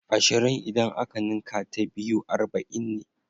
Ashirin idan aka ninka ta biyu arba'in ne.